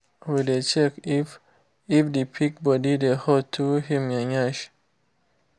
we dey check if if the pig body dey hot through en yansh